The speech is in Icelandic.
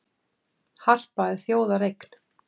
Harpa er þjóðareign